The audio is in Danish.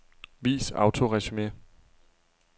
Vis autoresumé.